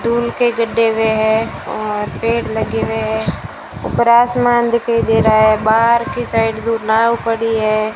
दून के गड्ढे हुए है और पेड़ लगे हुए हैं ऊपर आसमान दिखाई दे रहा है बाहर की साइड दो नाव पड़ी है।